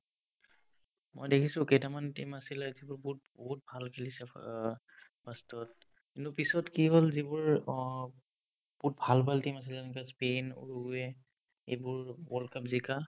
মই দেখিছো কেইটামান team আছিলে যিবোৰ বহুত বহুত ভাল খেলিছে ফা অ first তত্ কিন্তু পিছত কি হ'ল যিবোৰ অ বহুত ভাল ভাল team আছিলে এনেকুৱা স্পিন্, ঊৰুয়ে এইবোৰ world cup জিকা